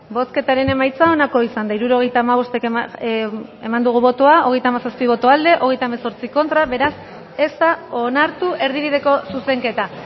bozketaren emaitza onako izan da hirurogeita hamabost eman dugu bozka hogeita hamazazpi boto aldekoa treinta y ocho contra beraz ez da onartu erdibideko zuzenketa